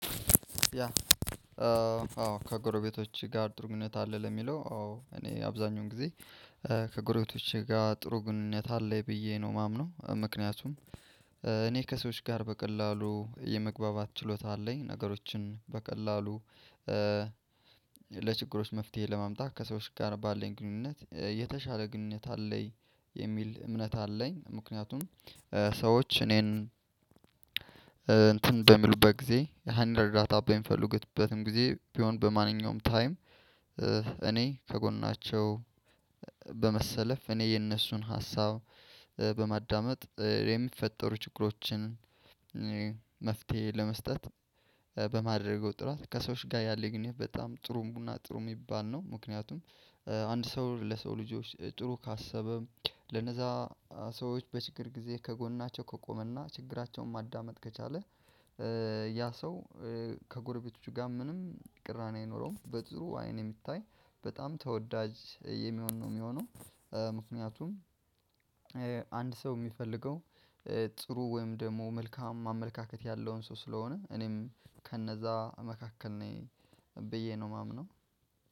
ያ? አዎ ከጎረቤቶች ጋር ጥሩ ኙኝነት አለ። ለሚለው አዎ እኔ አብዛኛውን ጊዜ ከጎረቤቶቼ ጋር ጥሩ ግንኙነት አለኝ ብዬ ነው የማምነው። ምክንያቱም እኔ ከሰዎች ጋር በቀላሉ የመግባባት ችሎታ አለኝ። ነገሮችን በቀላሉ ለችግሮች መፍትሄ ለማምጣት ከሰዎች ጋር ባለን ግንኙነት የተሻለ ግንኙነት አለኝ የሚል እምነት አለኝ። ምክንያቱም ሴዎች እኔን እንትን በሚሉበት ጊዜ አንድ እርዳታ በሚፈልጉበትም ጊዜ ቢሆን በማንኛውም ታይም። እኔ ከጎናቸው በመሰለፍ እኔ የነሱን ሀሳብ በማዳመጥ የሚፈጠሩ ችግሮችን። መፍትሄ ለመስጠት በማድረግ ወጥሏት ከሰዎች ጋር ያለኝ ግንኙነት በጣም ግሩም እና ጥሩ የሚባል ነው። ምክንያቱም አንድ ሰው ለሰው ልጆች ጥሩ ካሰበ ለነዛ ሰዎች በችግር ጊዜ ከጎናቸው ከቆመና ችግራቸውን ማዳመጥ ከቻለ። ያ ሰው ከጎረቤቶቹ ጋር ምንም ቅራኔ አኖረውም በጥሩ አይን የሚታይ በጣም ተወዳጅ የሚሆን ነው የሚሆነው። ምክንያቱም አንድ ሰው የሚፈልገው ጥሩ ወይም ደግሞ መልካም አመለካከት ያለውን ሰው ስለሆነ እኔም ከነዛ መካከል ነኝ ብዬ ነው የማምነው።